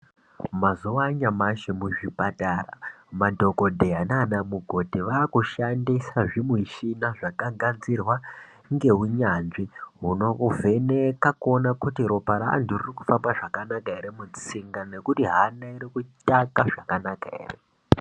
Mazuva anyamashi muzvipatara, madhokodheya naana mukoti vaakushandisa zvimuchina zvakagadzirwa ngeunyanzvi hunokuvheneka kuona kuti ropa reantu ririkuhamba zvakanaka here mutsinga, nekuti hana irikutaka zvakanaka here.